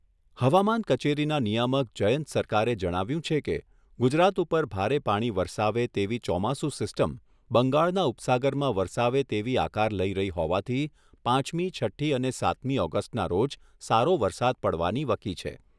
હવામાન કચેરીના નિયામક જયંત સરકારે જણાવ્યું છે કે ગુજરાત ઉપર ભારે પાણી વરસાવે તેવી ચોમાસું સિસ્ટમ બંગાળના ઉપસાગરમાં વરસાવે તેવી આકાર લઈ રહી હોવાથી પાંચમી છઠ્ઠી અને સાતમી ઓગસ્ટના રોજ સારો વરસાદ પાડવાની વકી છે.